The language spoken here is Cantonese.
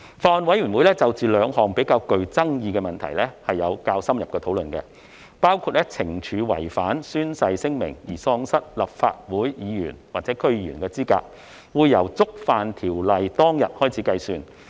法案委員會就兩項較具爭議的問題作出了較深入的討論，包括懲處違反宣誓聲明而喪失立法會議員或區議員資格，會由觸犯條例當天開始計算。